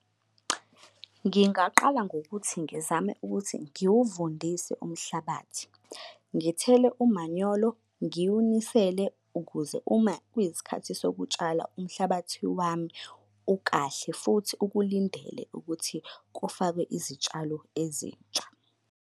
Ngingaqala ngokuthi ngizame ukuthi ngiwuvundise umhlabathi, ngithele umanyolo, ngiwunisele ukuze uma kuyisikhathi sokutshala umhlabathi wami ukahle futhi ukulindele ukuthi kufakwe izitshalo ezintsha.